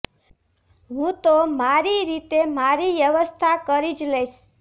હુ તો મારી રીતે મારી વ્યવસ્થા કરી જ લઇશ